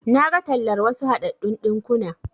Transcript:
Naga tallar wasu haɗaɗɗun ɗinkuna.